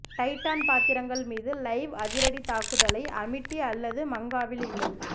Titan பாத்திரங்கள் மீது live அதிரடி தாக்குதலை அமிட்டி அல்லது மங்காவில் இல்லை